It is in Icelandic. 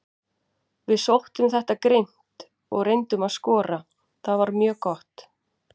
Við sóttum þetta grimmt og reyndum að skora, það var mjög gott.